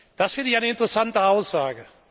Das finde ich eine interessante Aussage.